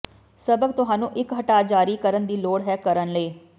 ਸਬਕ ਤੁਹਾਨੂੰ ਇੱਕ ਹਟਾ ਜਾਰੀ ਕਰਨ ਦੀ ਲੋੜ ਹੈ ਕਰਨ ਲਈ